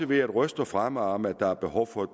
været røster fremme om at der er behov for at